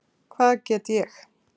Hvað get ég?